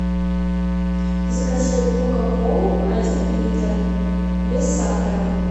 закажи кока колу один литр без сахара